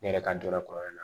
Ne yɛrɛ ka dɔ la kɔri na